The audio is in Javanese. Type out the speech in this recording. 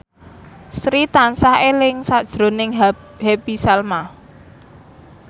Sri tansah eling sakjroning Happy Salma